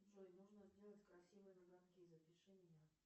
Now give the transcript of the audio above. джой нужно сделать красивые ноготки запиши меня